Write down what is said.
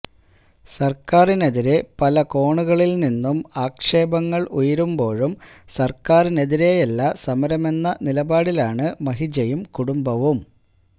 സര്ക്കാരിനെതിരെ പലകോണുകളില് നിന്നും ആക്ഷേപങ്ങള് ഉയരുമ്പോഴും സര്ക്കാരിനെതിരെയല്ല സമരമെന്ന നിലപാടിലാണ് മഹിജയും കുടുംബവും